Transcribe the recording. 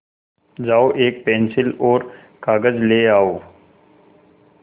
जाओ एक पेन्सिल और कागज़ ले आओ